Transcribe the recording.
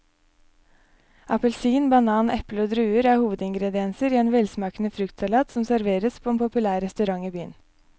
Appelsin, banan, eple og druer er hovedingredienser i en velsmakende fruktsalat som serveres på en populær restaurant i byen.